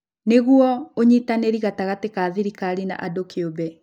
Nĩguo, ũnyitanĩri gatagati ka thirikari na andũ kĩũmbe,